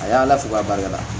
A y'ala fo k'a barikada